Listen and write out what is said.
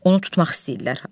Onu tutmaq istəyirlər.